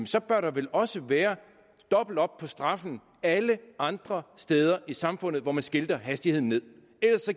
så bør der vel også være dobbelt op på straffen alle andre steder i samfundet hvor man skilter hastigheden ned ellers